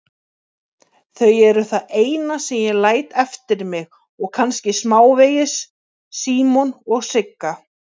Þau eru það eina sem ég læt eftir mig og kannski smávegis Símon og Sigga.